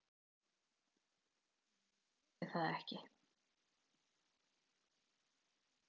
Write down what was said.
En ég þori það ekki.